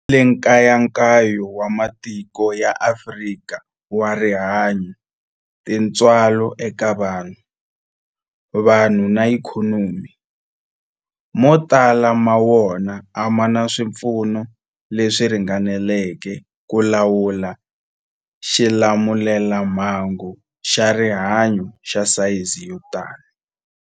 Ku vile nkayakayo wa matiko ya Afrika wa rihanyu, tintswalo eka vanhu, vanhu na ikhonomi, mo tala ma wona a ma na swipfuno leswi ringaneleke ku lawula xilamulelamhangu xa rihanyu xa sayizi yo tani.